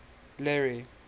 larry